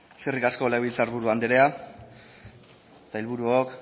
defendatzeko eskerrik asko legebiltzar buru anderea sailburuok